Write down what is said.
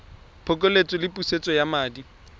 phokoletso le pusetso ya madi